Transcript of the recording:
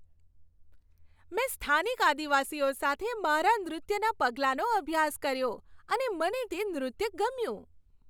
મેં સ્થાનિક આદિવાસીઓ સાથે મારા નૃત્યના પગલાંનો અભ્યાસ કર્યો અને મને તે નૃત્ય ગમ્યું.